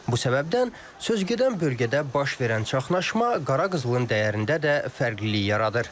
Bu səbəbdən sözügedən bölgədə baş verən çaxnaşma qara qızılın dəyərində də fərqlilik yaradır.